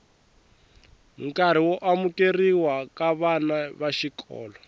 nkarhi wo amukerhiwa ka vana vaxikolo